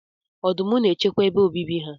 Ọdụm n'echekwa ebe obibi ha.